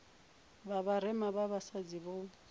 vha vharema vha vhasadzi vho